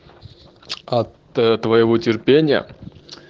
от твоего терпения